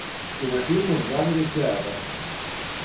кинофильмы в жанре театр